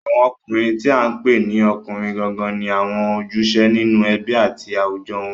Àwọn ọkùnrin tí à ń pè ní ọkùnrin gangan ni àwọn ojúṣe nínú ẹbí àti àwùjọ wọn